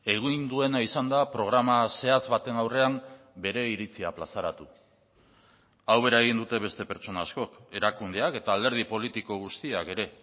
egin duena izan da programa zehatz baten aurrean bere iritzia plazaratu hau bera egin dute beste pertsona askok erakundeak eta alderdi politiko guztiak ere